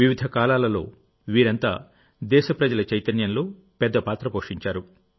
వివిధ కాలాలలోవీరంతా దేశ ప్రజల చైతన్యంలో పెద్ద పాత్ర పోషించారు